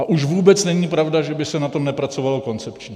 A už vůbec není pravda, že by se na tom nepracovalo koncepčně.